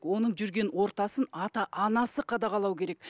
оның жүрген ортасын ата анасы қадағалау керек